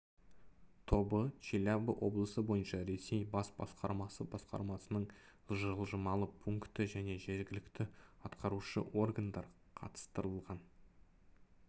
тобы челябі облысы бойынша ресей бас басқармасы басқармасының жылжымалы пункті және жергілікті атқарушы органдар қатыстырылған